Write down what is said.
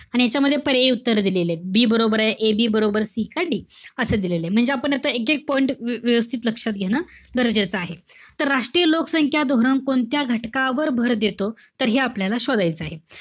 आणि ह्यांच्यामध्ये पर्यायी उत्तर दिलेलेत. B बरोबरे. AB बरोबर, C का D? असं दिलेलंय. म्हणजे आपण आता एकएक point व्यवस्थित लक्षात घेणं गरजेचं आहे. तर राष्ट्रीय लोकसंख्या धोरण कोणत्या घटकावर भर देतो. तर हे आपल्याला शोधायचय.